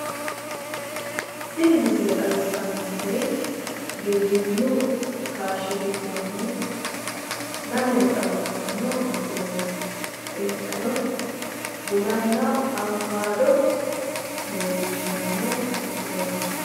Tini misile xawissannonkeri giwirinnu kaashshi ,giddonni lamere xawissanno misileeti insano bunanna awukaado leellishshanno misileeti.